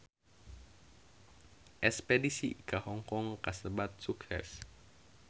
Espedisi ka Hong Kong kasebat sukses